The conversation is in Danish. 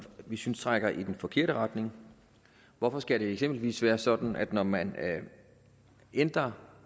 vi synes trækker i den forkerte retning hvorfor skal det eksempelvis være sådan at det når man ændrer